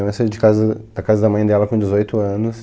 A minha mãe saiu de casa da mãe dela com dezoito anos.